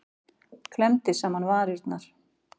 Klemmdi saman varirnar.